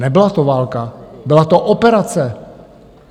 Nebyla to válka, byla to operace.